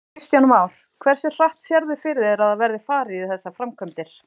Kristján Már: Hversu hratt sérðu fyrir þér að það verði farið í þessar framkvæmdir?